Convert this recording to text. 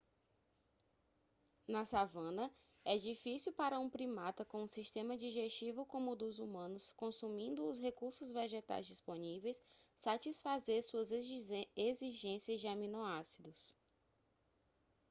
na savana é difícil para um primata com um sistema digestivo como o dos humanos consumindo os recursos vegetais disponíveis satisfazer suas exigências de aminoácidos